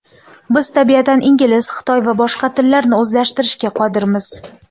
Biz tabiatan ingliz, xitoy va bosh tillarni o‘zlashtirishga qodirmiz.